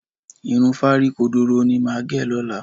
Irun fárí kodoro ni màá gẹ̀ lọ́la